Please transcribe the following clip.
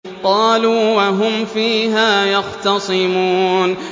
قَالُوا وَهُمْ فِيهَا يَخْتَصِمُونَ